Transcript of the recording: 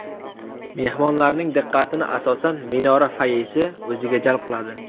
Mehmonlarning diqqatini asosan, minora foyesi o‘ziga jalb qiladi.